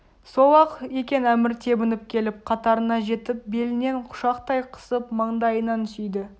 сол-ақ екен әмір тебініп келіп қатарына жетіп белінен құшақтай қысып маңдайынан сүйді